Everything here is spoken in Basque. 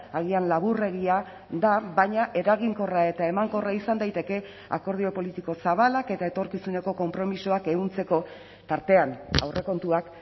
agian laburregia da baina eraginkorra eta emankorra izan daiteke akordio politiko zabalak eta etorkizuneko konpromisoak ehuntzeko tartean aurrekontuak